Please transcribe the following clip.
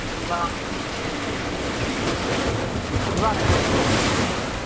യിമ്മ യ്യ് പറയ്